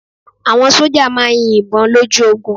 Àwọn sójà máà ń yin ìbọn lójú ogun